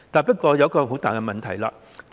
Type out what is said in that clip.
不過，這裏有一個很大的問題。